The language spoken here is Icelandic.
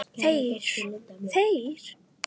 Þeir, þeir!